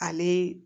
Ale